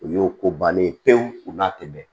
O y'o ko balen ye pewu u n'a tɛmɛn